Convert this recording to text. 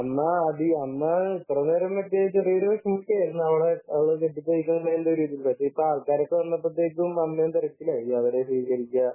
അമ്മ കുറെ നേരം അവളെ കെട്ടിച്ചയക്കുന്നതിന്റെ ഒരു ഇതിൽ. ഇപ്പോൾ ആൾക്കാരൊക്കെ വന്നപ്പോൾ അമ്മയും തിരക്കിലായി അവരെ സ്വീകരിക്കുക